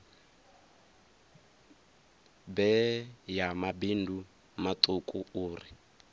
bee ya mabindu matuku uri